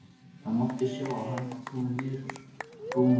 Það mátti sjá að hann var kominn niður úr skónum.